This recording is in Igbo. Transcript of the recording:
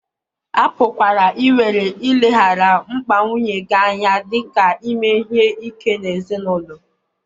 A pụkwara iwere ileghara mkpa nwunye gị anya dị ka ime ihe ike n'ezinụlọ.